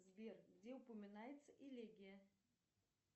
сбер где упоминается элегия